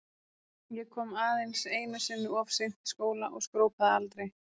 Ég kom aðeins einu sinni of seint í skóla og skrópaði aldrei.